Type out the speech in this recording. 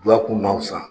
Yakun na fisa